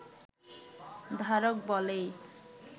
ধারক বলেই